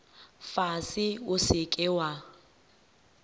fase o se ke wa